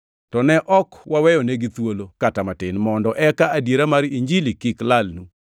To ne ok waweyonegi thuolo kata matin, mondo eka adiera mar Injili kik lalnu.